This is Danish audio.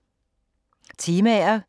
Temaer